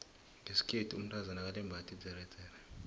ngeskhethu umtazana akalembathi idzeredzere